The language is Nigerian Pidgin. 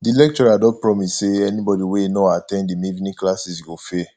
di lecturer don promise say anybody wey no at ten d him evening classes go fail